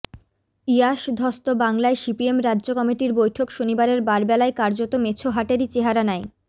ইয়াস ধ্বস্ত বাংলায় সিপিএম রাজ্য কমিটির বৈঠক শনিবারের বারবেলায় কার্যত মেছো হাটেরই চেহারা নেয়